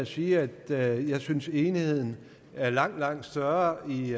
sige at jeg synes enigheden er langt langt større i